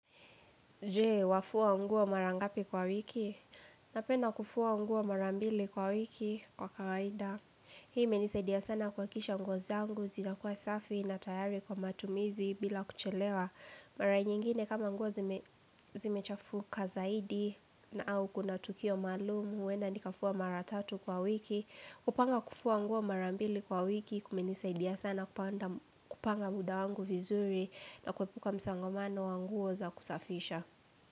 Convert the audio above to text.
Jee, wafua nguo marangapi kwa wiki? Napenda kufua nguo marambili kwa wiki kwa kawaida. Hii imenisaidia sana kuakisha nguo zangu, zina kuwa safi na tayari kwa matumizi bila kuchelewa. Mara nyingine kama nguo zime zimechafuka zaidi na au kuna tukio maalumu, huenda nikafua maratatu kwa wiki. Kupanga kufua nguo marambili kwa wiki, kumenisaidia sana panda kupanga muda wangu vizuri na kuepuka msongomano wa nguo za kusafisha.